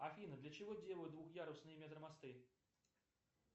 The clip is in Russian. афина для чего делают двухъярусные метромосты